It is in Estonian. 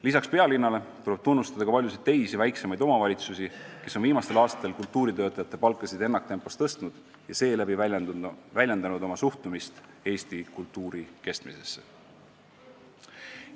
Lisaks pealinnale tuleb tunnustada paljusid teisi, väiksemaid omavalitsusi, kes on viimastel aastatel kultuuritöötajate palkasid ennaktempos tõstnud ja seeläbi väljendanud oma suhtumist Eesti kultuuri kestmisesse.